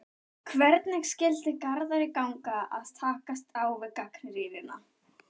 Hvernig skyldi Garðari ganga að takast á við gagnrýnina?